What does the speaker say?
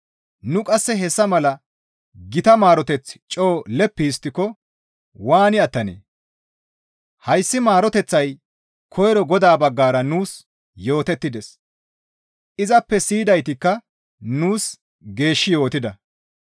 Nu qasse hessa mala gita maaroteth coo leppi histtiko waani attanee? Hayssi maaroteththay koyro Godaa baggara nuus yootettides; izappe siyidaytikka nuus geeshshi yootida.